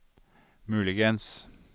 muligens